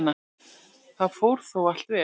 Það fór þó allt vel.